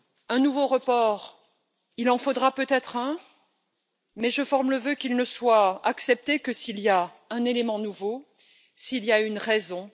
Un nouveau report, il en faudra peut être un, mais je forme le vœu qu'il ne soit accepté que s'il y a un élément nouveau, s'il y a une raison.